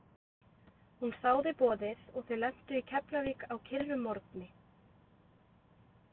Hún þáði boðið og þau lentu í keflavík á kyrrum morgni.